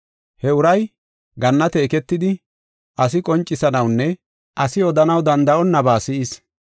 He uray gannate eketidi asi qoncisanawunne asi odanaw danda7onnaba si7is.